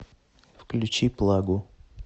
включи плагу